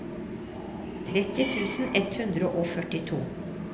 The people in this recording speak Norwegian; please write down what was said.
tretti tusen ett hundre og førtito